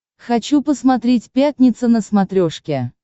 хочу посмотреть пятница на смотрешке